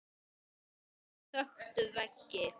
Bækur þöktu veggi.